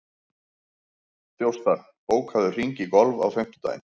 Þjóstar, bókaðu hring í golf á fimmtudaginn.